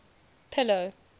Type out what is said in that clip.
pillow